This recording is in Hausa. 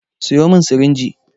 Sayo min sirinji!